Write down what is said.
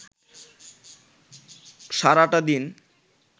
সারাটা দিন